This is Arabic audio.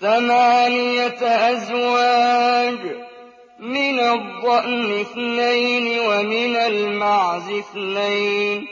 ثَمَانِيَةَ أَزْوَاجٍ ۖ مِّنَ الضَّأْنِ اثْنَيْنِ وَمِنَ الْمَعْزِ اثْنَيْنِ ۗ